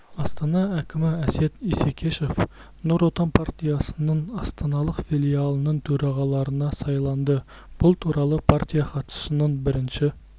астана әкімі әсет исекешев нұр отан партиясының астаналық филиалының төрағалығына сайланды бұл туралы партия хатшысының бірінші